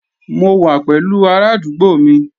Mo wà pẹ̀lú arádúgbò mi